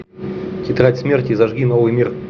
тетрадь смерти зажги новый мир